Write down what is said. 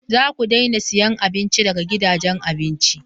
Za ku daina siyan abinci daga gidajen abinci!